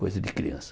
Coisa de criança.